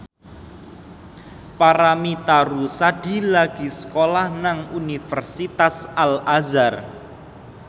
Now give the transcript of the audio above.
Paramitha Rusady lagi sekolah nang Universitas Al Azhar